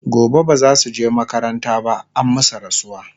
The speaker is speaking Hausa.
gobe bazasuje makaranta ba an masu rasuwa